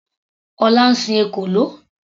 Ọlá ń sin ekòló.